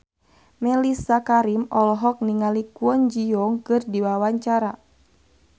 Mellisa Karim olohok ningali Kwon Ji Yong keur diwawancara